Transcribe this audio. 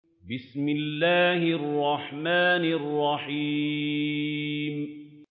بِسْمِ اللَّهِ الرَّحْمَٰنِ الرَّحِيمِ